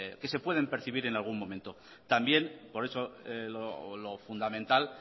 que se pueden percibir en cualquier momentos también por eso lo fundamental